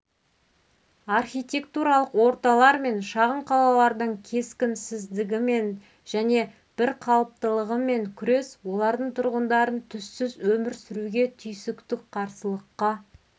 архитектуралық орталар мен шағын қалалардың кескінсіздігімен және бір қалыптылығымен күрес олардың тұрғындарын түссіз өмір сүруге түйсіктік қарсылыққа